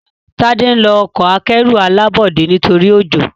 Tade nlọ Ọkọ̀ akẹ́rù alábọ́dé nítorí ojó.